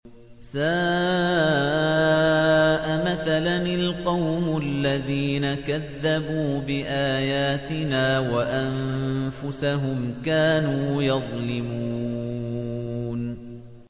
سَاءَ مَثَلًا الْقَوْمُ الَّذِينَ كَذَّبُوا بِآيَاتِنَا وَأَنفُسَهُمْ كَانُوا يَظْلِمُونَ